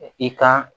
I ka